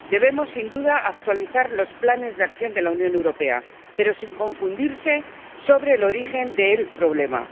Debemos, sin duda, actualizar los planes de acción de la Unión Europea, pero no hay que confundirse sobre el origen del problema.